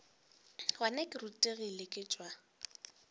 gona ke rutegile ke tšwa